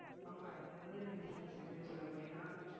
ஆமா இந்த மாதிரி business எப்படின்னு சொல்ல போனீங்கன்னா